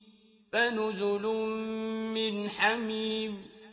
فَنُزُلٌ مِّنْ حَمِيمٍ